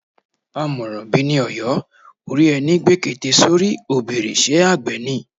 Àmọ̀ràn bi ni Ọ̀yọ́, ó rí ẹni gbé kete sórí, ó bèrè Ṣé àgbẹ̀ ni?